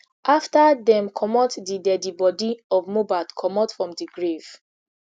afta dem comot di deadi body of mohbad comot from di grave